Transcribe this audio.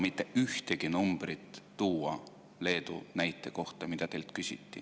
Te ei osanud praegu tuua Leedu kohta mitte ühtegi numbrit, mida teilt küsiti.